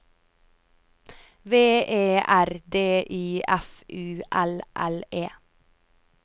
V E R D I F U L L E